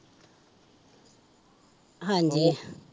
ਹਾਂਜੀ